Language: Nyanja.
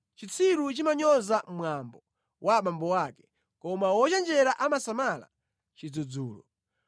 Chitsiru chimanyoza mwambo wa abambo ake, koma wochenjera amasamala chidzudzulo.